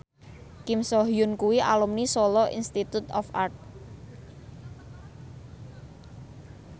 Kim So Hyun kuwi alumni Solo Institute of Art